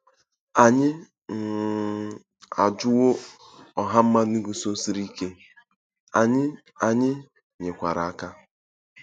Anyị um ajụwo ọha mmadụ guzosiri ike, anyị, anyị nyekwara aka.